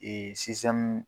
Ee sistɛmu